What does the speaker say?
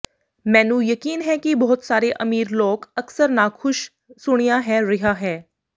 ਮੈਨੂੰ ਯਕੀਨ ਹੈ ਕਿ ਬਹੁਤ ਸਾਰੇ ਅਮੀਰ ਲੋਕ ਅਕਸਰ ਨਾਖੁਸ਼ ਸੁਣਿਆ ਹੈ ਰਿਹਾ ਹੈ